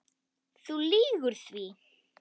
Þú lýgur því.